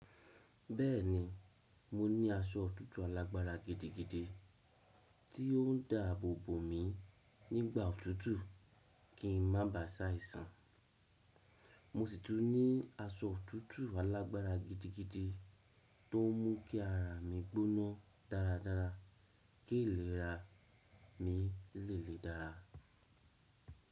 Bẹ́ẹ̀ni, mo ní aṣọ òtútù alágbára gidigidi tí ó ń dáàbò bò mi nígbà òtútù kí n má bà sá ìsan. Mo sì tún ní aṣọ òtútù alágbára gidigidi tó ń mú kí ara mi gbóná dáradára, kí ìlera mi lè lè dára.